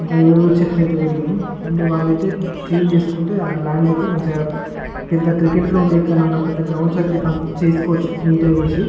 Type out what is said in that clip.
పెద్ద చెట్లు అయితే పెరిగినాయ్ అండ్ వాళ్ళు అయితే క్లీన్ చేసుకుంటే ల్యాండ్ అయితే మంచిగా పెద్ద క్రికెట్ గ్రౌండ్ లెక్క పెద్ద గ్రౌండ్స్ అయితే చేసుకోవచ్చు నీట్ గా చేసి --